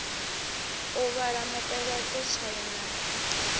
u vhala mupeleṱo tswayo na